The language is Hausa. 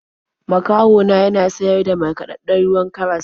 Makoci na yana siyar da markaɗaɗɗen ruwan karas.